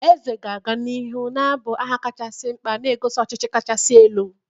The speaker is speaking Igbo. Eze ga-aga n'ihu na-abụ aha kachasị mkpa, na-egosi ọchịchị kacha elu.